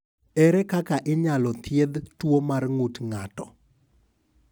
Ere kaka inyalo thiedh tuo mar ng’ut ng’ato?